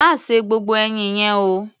Má se gbogbo ẹyin yẹn o!